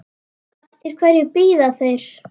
Eftir hverju bíða þeir?